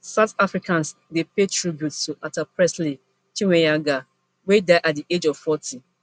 south africans dey pay tribute to actor presley chweneyagae wey die at di age of forty